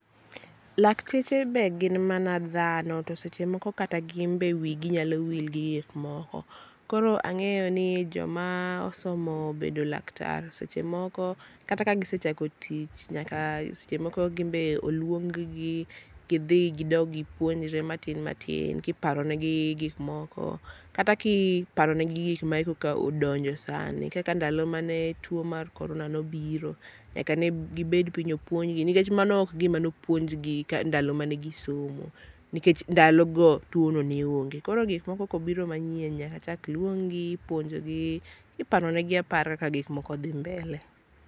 Lakteche be gin mana dhano to seche moko kata wi gi nyalo wil gi yath moko, koro ang'eyo ni joma osomo bedo laktar seche moko kata ka gi sechako tich nyaka seche moko gin be oluong gi gidhi gidog gi puonjre matin kiporo ne gi gik moko kata kiparo ne gi gik ma odonjo sani kaka ndalo mane tuo mar corona nobiro nyaka ne gi bed piny opuonj gi nikech mano gima ok ne opuonj gi ndalo mane gisomo nikech ndalo no tuono ne onge, koro gik moko kobiro manyien nyaka chak luong gi puonj gi iparo ne gi apara ka gik moko dhi mbele.